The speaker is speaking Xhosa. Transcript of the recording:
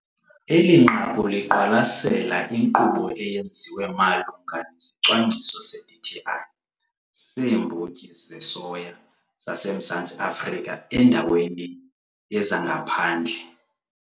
ELI NQAKU LIQWALASELA INKQUBO EYENZIWE MALUNGA NESICWANGCISO SE-DTI SEEMBOTYI ZESOYA ZASEMZANTSI AFRIKA ENDAWENI YEZANGAPHANDLE.